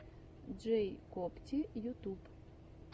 джэйкобти ютуб